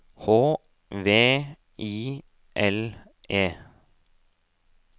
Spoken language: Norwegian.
H V I L E